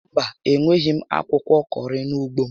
Mba, enweghi m akwụkwọ kọrị n'ugbo m